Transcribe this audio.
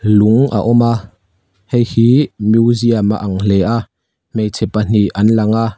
lung a awm a hei hih museum a ang hle a hmeichhe pahnih an lang a.